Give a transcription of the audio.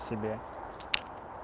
себе